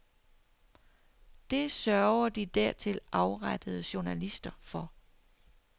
Det sørger de dertil afrettede journalister for.